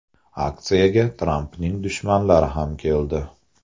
Aksiyaga Trampning dushmanlari ham keldi.